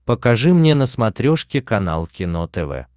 покажи мне на смотрешке канал кино тв